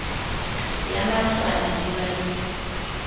ya matlwana di ba le